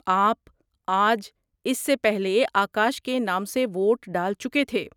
آپ آج اس سے پہلے آکاش کے نام سے ووٹ ڈال چکے تھے۔